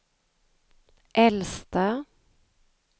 äldsta